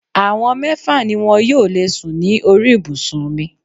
Àwọn mẹ́fà ni wọn yóò lè sùn ní orí ibùsùn mi.